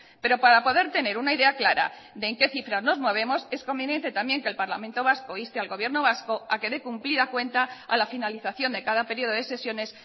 pero para poder tener una idea clara de en qué cifras nos movemos es conveniente también que el parlamento vasco inste al gobierno vasco a que dé cumplida cuenta a la finalización de cada periodo de sesiones